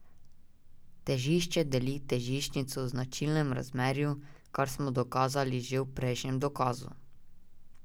Težišče deli težiščnico v značilnem razmerju, kar smo dokazali že v prejšnjem dokazu.